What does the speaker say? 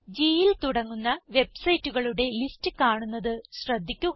Gൽ തുടങ്ങുന്ന വെബ്സൈറ്റുകളുടെ ലിസ്റ്റ് കാണുന്നത് ശ്രദ്ധിക്കുക